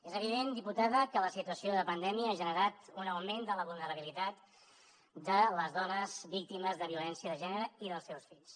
és evident diputada que la situació de pandèmia ha generat un augment de la vulnerabilitat de les dones víctimes de violència de gènere i dels seus fills